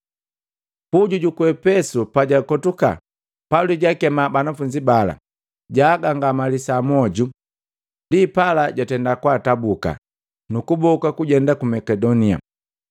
Puju juku Efesu pajakotuka Pauli jaakema banafunzi bala, jaagangamalisa moju. Ndi pala jwatenda kwaatabuka, nu kuboka kujenda ku Makedonia.